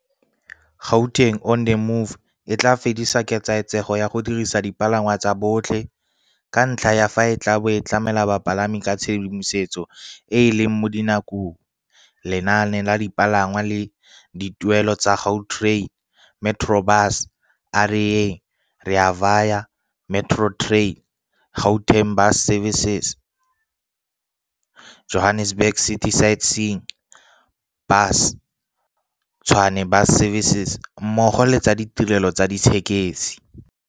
Gauteng on the Move e tla fedisa ketsaetsego ya go dirisa dipalangwa tsa botlhe, ka ntlha ya fa e tla bo e tlamela bapalami ka tshedimosetso e e leng mo dinakong, lenaane la dipalangwa le dituelelo tsa Gautrain, Metrobus, A Re Yeng, Rea Vaya, Metrorail, Gautrain Bus Services, Johannesburg City Sightseeing Bus, Tshwane Bus Services mmogo le tsa ditirelo tsa dithekesi.